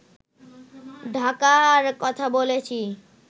ঢাকার কথা বলেছি